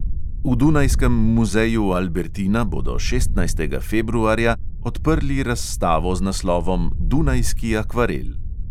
V dunajskem muzeju albertina bodo šestnajstega februarja odprli razstavo z naslovom dunajski akvarel.